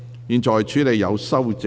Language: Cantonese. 現在處理有修正案的條文。